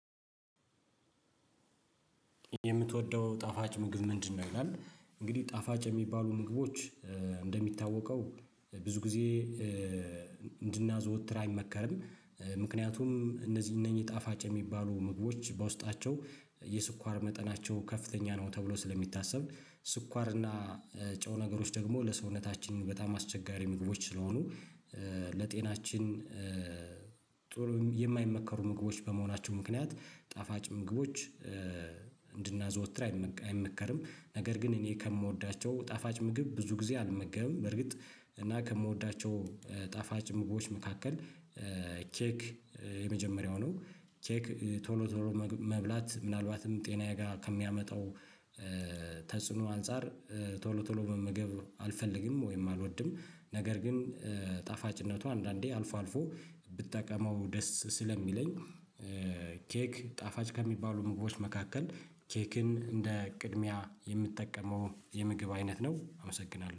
የምትወደው ጣፋጭ ምግብ ምንድነው? ይላል እንግዲህ ጣፋጭ የሚባሉ ምግቦች እንደሚታወቀው ብዙ ጊዜ እንድናዘወትር አይመከርም ምክንያቱም እነዚህ እነኚህ ጣፋጭ የሚባሉ ምግቦች በውስጣቸው የስኳር መጠናቸው ከፍተኛ ነው። ተብሎ ስለሚታሰብ ስኳር እና ጨው ነገሮች ደግሞ ለሰውነታችን በጣም አስቸጋሪ ምግቦች ስለሆኑ ለጤናችን የማይመከሩ ምግቦች በመሆናቸው ምክንያት ጣፋጭ ምግቦች እንድናዘወትር አይመከርም። ነገር ግን እኔ ከምወዳቸው ጣፋጭ ምግብ ብዙ ጊዜ አልመገብም። በርግጥ እና ከምወዳቸው ጣፋጭ ምግቦች መካከል ኬክ የመጀመሪያው ነው። ኬክ ቶሎ ቶሎ መብላት ምናልባትም ጤናዬ ጋር ከሚያመጣው ተጽዕኖ አንፃር ቶሎ ቶሎ መመገብ አልፈልግም ወይም አልወድም። ነገር ግን ጣፋጭነቱ አንዳንዴ አልፎ አልፎ ብትጠቀመው ደስ ስለሚለኝ። ኬክ ጣፋጭ ከሚባሉ ምግቦች መካከል ኬክን እንደ ቅድሚያ የምጠቀመው የምግብ አይነት ነው። አመሰግናለሁ